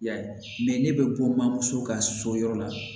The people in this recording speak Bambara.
I y'a ye ne bɛ bɔ so ka so yɔrɔ la